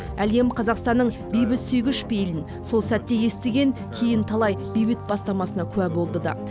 әлем қазақстанның бейбітсүйгіш пейілін сол сәтте естіген кейін талай бейбіт бастамасына куә болды да